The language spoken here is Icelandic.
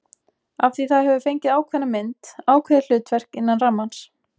Af því það hefur fengið ákveðna mynd, ákveðið hlutverk, innan rammans.